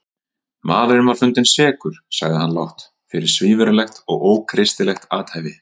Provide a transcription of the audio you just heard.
Maðurinn var fundinn sekur, sagði hann lágt,-fyrir svívirðilegt og ókristilegt athæfi.